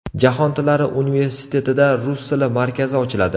Jahon tillari universitetida Rus tili markazi ochiladi.